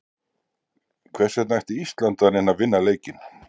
Hvers vegna ætti Ísland að reyna að vinna leikinn?